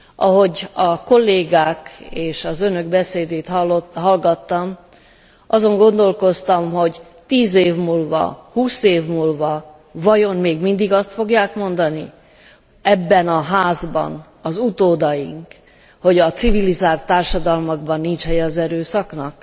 Ahogy a kollégák és az önök beszédét hallgattam, azon gondolkoztam, hogy 10 év múlva, 20 év múlva vajon még mindig azt fogják mondani ebben a házban az utódaink, hogy a civilizált társadalmakban nincs helye az erőszaknak?